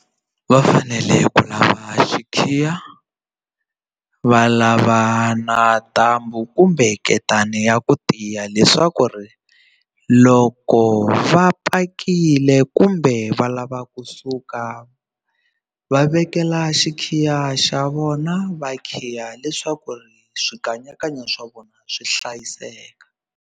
Va fanele ku lava xikhiya va lava na ntambu kumbe nketani ya ku tiya leswaku ri loko va pakilee kumbe va lava kusuka va vekela xikhiya xa vona va khiya leswaku ri swikanyakanya swa vona swi hlayiseka.